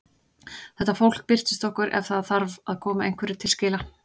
Þetta fólk birtist okkur ef það þarf að koma einhverju til skila.